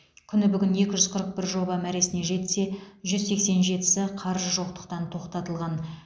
күні бүгін екі жүз қырық бір жоба мәресіне жетсе жүз сексен жетісі қаржы жоқтықтан тоқтатылған